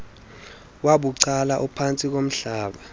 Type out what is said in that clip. wabucala ophantsi komhlaba